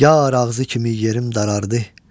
Yar ağzı kimi yerim daraldı.